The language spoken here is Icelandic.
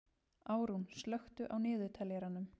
Árún, slökktu á niðurteljaranum.